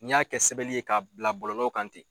N y'a kɛ sɛbɛli ye ka bila bɔlɔlɔ kan ten